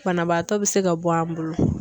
Banabaatɔ be se ka bɔ an bolo.